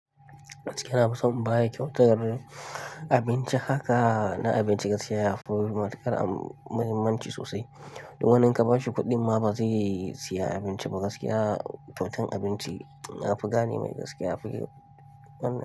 Gaskiya nafi son in baya ƙyautar abinci haka na abinci gaskiya yafi matukar muhimmanci sosai. Domin wani inka bashi kuɗi ma bazai siya abinci ba gaskiya. Ƙyautan abinci nafi gane mai gaskiya flue.